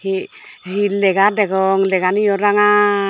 he he lega degong leganiyo rangaa.